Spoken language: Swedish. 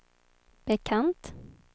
bekant